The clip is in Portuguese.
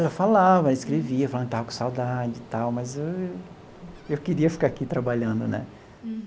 Ela falava, ela escrevia, falando que tava com saudade e tal, mas eu queria ficar aqui trabalhando, né?